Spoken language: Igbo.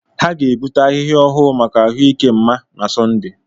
Ha ga-ebute ahịhịa ọhụrụ maka ahụ ike mma na Sọnde.